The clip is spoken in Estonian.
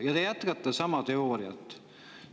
Aga te jätkate sama teooriat.